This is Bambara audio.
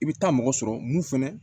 I bɛ taa mɔgɔ sɔrɔ mun fana